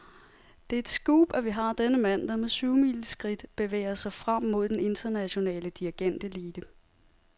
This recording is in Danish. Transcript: Det er et scoop, at vi har denne mand, der med syvmileskridt bevæger sig frem mod den internationale dirigentelite.